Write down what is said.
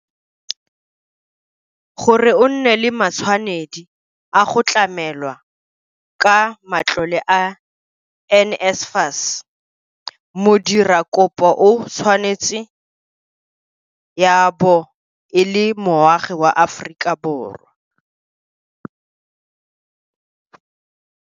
Gore o nne le matshwanedi a go tlamelwa ka matlole a NSFAS, modira kopo o tshwanetse ya bo e le moagi wa mo-Aforika.